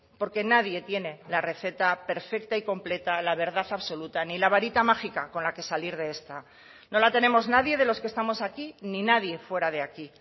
porque nadie tiene la receta perfecta y completa la verdad absoluta ni la varita mágica con la que salir de esta no la tenemos nadie de los que estamos aquí ni nadie fuera de aquí